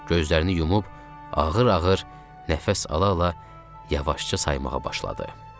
Gözlərini yumub ağır-ağır nəfəs ala-ala yavaşca saymağa başladı.